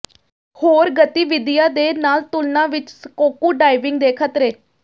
ਹੋਰ ਗਤੀਵਿਧੀਆਂ ਦੇ ਨਾਲ ਤੁਲਨਾ ਵਿਚ ਸਕੌਕੂ ਡਾਈਵਿੰਗ ਦੇ ਖਤਰੇ